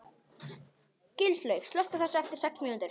Gilslaug, slökktu á þessu eftir sex mínútur.